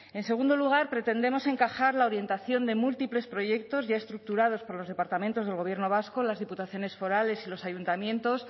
en segundo lugar pretendemos encajar la orientación de múltiples proyectos ya estructurados por los departamentos del gobierno vasco las diputaciones forales y los ayuntamientos